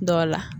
Dɔ la